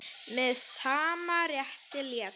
Með sama rétti lét